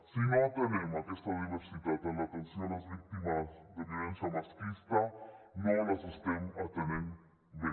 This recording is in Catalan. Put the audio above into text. si no atenem aquesta diversitat en l’atenció a les víctimes de violència masclista no les estem atenent bé